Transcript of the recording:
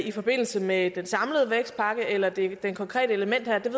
i forbindelse med den samlede vækstpakke eller det konkrete element her ved